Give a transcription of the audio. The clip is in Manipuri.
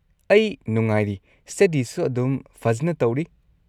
ꯑꯩ ꯅꯨꯡꯉꯥꯏꯔꯤ, ꯁꯇꯗꯤꯁꯨ ꯑꯗꯨꯝ ꯐꯖꯟꯅ ꯇꯧꯔꯤ꯫